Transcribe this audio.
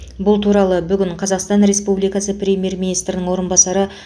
бұл туралы бүгін қазақстан республикасы премьер министрінің орынбасары